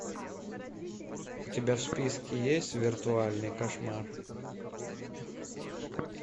у тебя в списке есть виртуальный кошмар